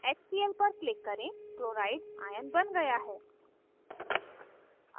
hcl पर click करें chloride cl ^ आयन बन गया है